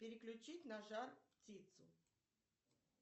переключить на жар птицу